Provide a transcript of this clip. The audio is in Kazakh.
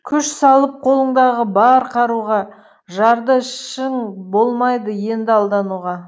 күш салып қолындағы бар қаруға жарды ішін болмайды енді алдануға